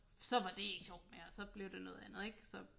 Så var det ikke sjovt mere og så blev det noget andet ik så